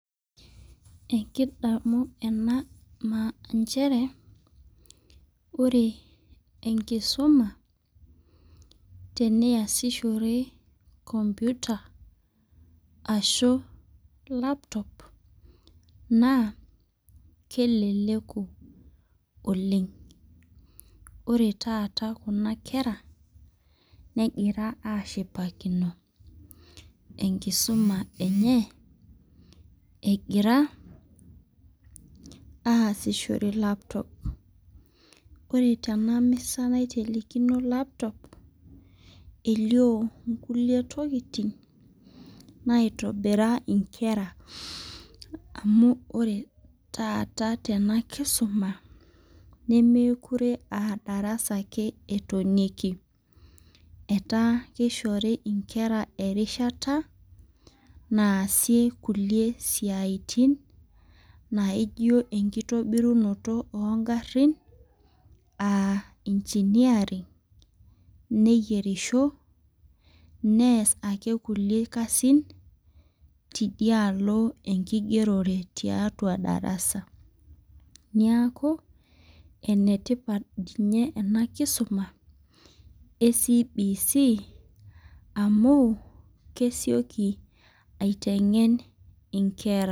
Ekidamu ena nchere. ore enkisuma teniasishore computer ashu laptop .naa keleleku oleng. ore taata Kuna kera negira ashipakino enkisuma enye. egira aasishore laptop ore tena misa, naitelekino laptop elio nkulie tokitin naitobira inkera, amu ore taata tena kisuma nemeekure aa darasa ake etonieki. etaa kishori nkera erishata naasie kulie siatin. naijo enkitobirunoto ogarin.aa engineering neyierisho, nees ake kulie kasin. tedialo enkigerore, tiatua darasa. niaku enetipat ninye ena kisuma e CBC amu kesioki aitengen nkeram